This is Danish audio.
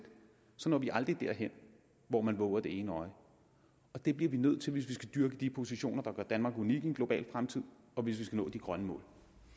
når vi aldrig derhen hvor man vover det ene øje og det bliver vi nødt til hvis vi skal dyrke de positioner der gør danmark unik i en global fremtid og hvis vi skal nå de grønne mål